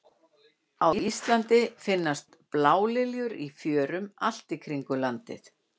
á íslandi finnst blálilja í fjörum allt í kringum landið